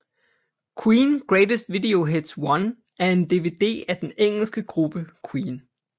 Queen Greatest Video Hits 1 er en DVD af den engelske gruppe Queen